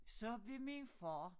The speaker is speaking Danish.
Så blev min far